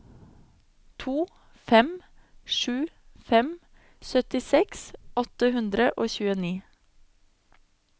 to fem sju fem syttiseks åtte hundre og tjueni